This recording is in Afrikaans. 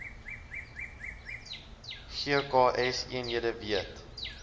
gks eenhede weet